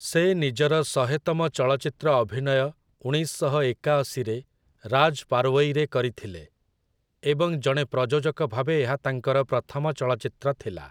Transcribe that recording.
ସେ ନିଜର ଶହେତମ ଚଳଚ୍ଚିତ୍ର ଅଭିନୟ ଉଣେଇଶ ଶହ ଏକାଅଶୀରେ 'ରାଜ୍ ପାର୍ୱଇ'ରେ କରିଥିଲେ, ଏବଂ ଜଣେ ପ୍ରଯୋଜକ ଭାବେ ଏହା ତାଙ୍କର ପ୍ରଥମ ଚଳଚ୍ଚିତ୍ର ଥିଲା ।